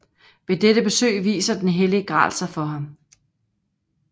Ved dette besøg viser den hellige gral sig for ham